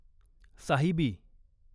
Sahibi